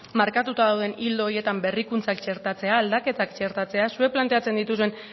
markatuta dauden ildo horietan berrikuntzak txertatzea aldaketak txeratzea zuek planteatzen dituzuen